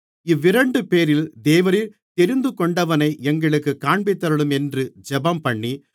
இவ்விரண்டுபேரில் தேவரீர் தெரிந்துகொண்டவனை எங்களுக்குக் காண்பித்தருளும் என்று ஜெபம்பண்ணி